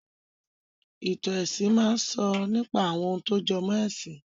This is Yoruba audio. Ìtàn ẹ̀sìn máa sọ nípa àwọn ohun tó jọmọ́ ẹ̀sìn